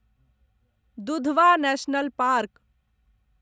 Dudhwa national park